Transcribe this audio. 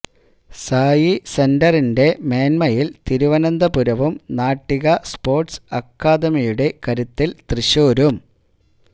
സായി സെന്ററിന്റെ മേന്മയില് തിരുവനന്തപുരവും നാട്ടിക സ്പോര്ട്സ് അക്കാദമിയുടെ കരുത്തില് തൃശ്ശൂരും